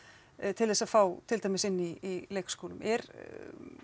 til þess að fá til dæmis inn í leikskólum er